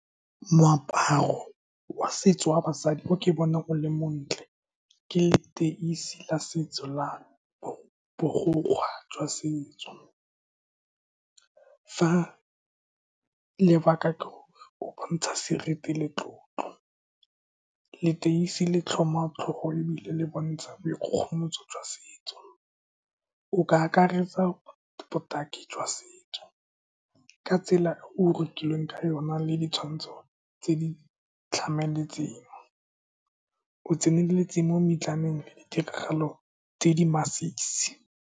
Moaparo wa setso wa basadi o ke bonang o le montle ke leteisi la setso la borokgwe jwa setso. Fa lebaka ke go bontsha seriti le tlotlo, leteisi le tlhoma tlhogo, ebile le bontsha boikgogomoso jwa setso. O ka akaretsa botaki jwa setso ka tsela e go rokilweng ka yona, le ditshwantsho tse di tlhamaletseng. O tseneletse mo le ditiragalo tse di masisi.